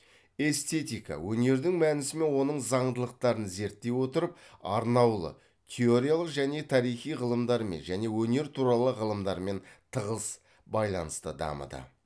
эстетика өнердің мәнісі мен оның заңдылықтарын зерттей отырып арнаулы теориялық және тарихи ғылымдармен және өнер туралы ғылымдармен тығыз байланыста дамыды